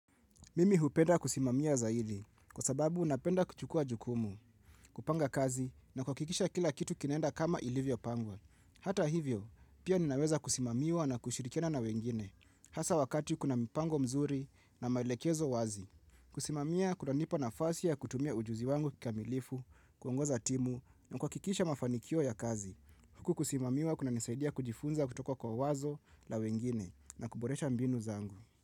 Mimi hupenda kusimamia zaili, kwa sababu napenda kuchukua jukumu, kupanga kazi na kuhakikisha kila kitu kinaenda kama ilivyopangwa. Hata hivyo, pia ninaweza kusimamiwa na kushirikiana na wengine, hasa wakati kuna mpango mzuri na maelekezo wazi. Kusimamiwa kunanipa nafasi ya kutumia ujuzi wangu kikamilifu, kuongoza timu na kuhakikisha mafanikio ya kazi. Huku kusimamiwa kunanisaidia kujifunza kutoka kwa wazo la wengine na kuboresha mbinu zangu.